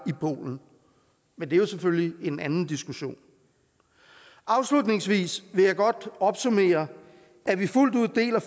i polen men det er jo selvfølgelig en anden diskussion afslutningsvis vil jeg godt opsummere at vi fuldt ud deler